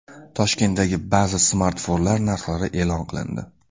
Toshkentdagi ba’zi smartfonlar narxlari e’lon qilindi.